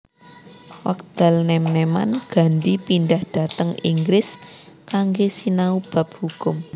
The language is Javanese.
Wekdal nèm nèman Gandhi pindhah dhateng Inggris kanggé sinau bab hukum